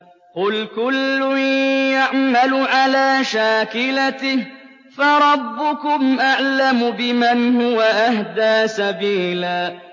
قُلْ كُلٌّ يَعْمَلُ عَلَىٰ شَاكِلَتِهِ فَرَبُّكُمْ أَعْلَمُ بِمَنْ هُوَ أَهْدَىٰ سَبِيلًا